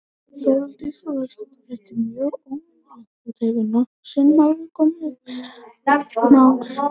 Þórhildur Þorkelsdóttir: Þetta er mjög óvenjulegt, hefur þetta nokkru sinni áður komið upp, álíka mál?